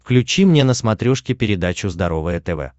включи мне на смотрешке передачу здоровое тв